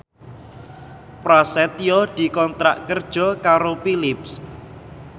Prasetyo dikontrak kerja karo Philips